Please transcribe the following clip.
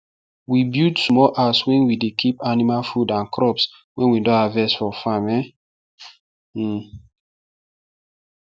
we build small house wen we dey keep animal food and crops wen we don harvest for farm um